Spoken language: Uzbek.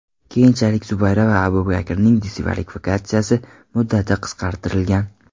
Keyinchalik Zubayra va Abubakarning diskvalifikatsiya muddati qisqartirilgan.